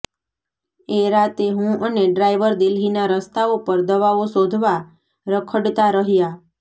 એ રાતે હું અને ડ્રાઇવર દિલ્હીના રસ્તાઓ પર દવાઓ શોધવા રખડતા રહ્યા